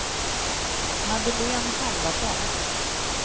Madeleine Halvarsson